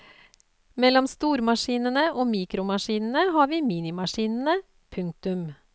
Mellom stormaskinene og mikromaskinene har vi minimaskinene. punktum